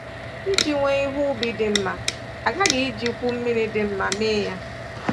Iji wee ihe ubi dị mma, a ghaghị ijikwu mmiri dị mma mee ya.